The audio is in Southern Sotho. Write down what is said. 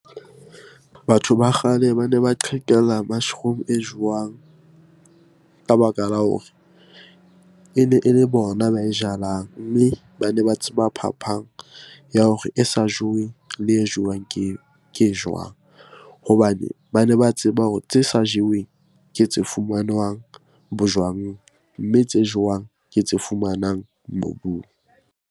Batho ba kgale bane ba qhekela mushroom e jowang ka baka la hore ene e le bona ba e jalang, mme bane ba tseba phaphang ya hore e sa joweng le e jewang ke e jwang? Hobane bane ba tseba hore tse sa jeweng ke tse fumanwang bojwang, mme tse jewang ke tse fumanang mobung.